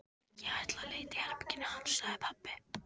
Ég ætla að leita í herberginu hans, sagði pabbi.